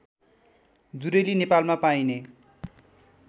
जुरेली नेपालमा पाइने